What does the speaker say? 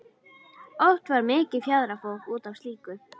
Oft varð mikið fjaðrafok út af slíku.